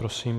Prosím.